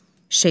Şeyx.